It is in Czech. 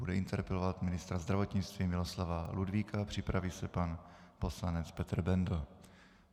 Bude interpelovat ministra zdravotnictví Miloslava Ludvíka, připraví se pan poslanec Petr Bendl.